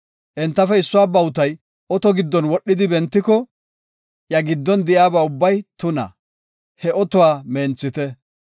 Entafe issuwa bawutay oto giddon wodhidi bentiko, iya giddon de7iyaba ubbay tuna; he otuwa menthite.